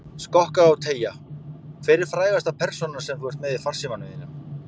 Skokka og teygja Hver er frægasta persónan sem þú ert með í farsímanum þínum?